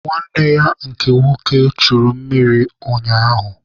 Nwanne ya nke nwoke churu mmiri ụnyaahụ